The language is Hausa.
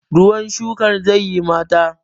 ruwan shukar zai yi mata!